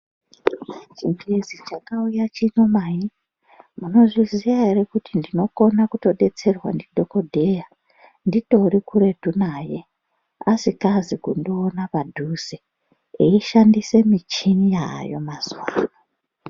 Chingezi chaka uya chino mai muno zviziya ere kuti ndinokona kuto detserwa ndi dhokodheya nditori kuretu naye asikazi kundiona padhuze ei shandise michini yayo mazuva ano.